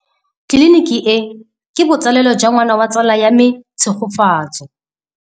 Tleliniki e, ke botsalêlô jwa ngwana wa tsala ya me Tshegofatso.